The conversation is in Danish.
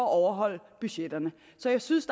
at overholde budgetterne så jeg synes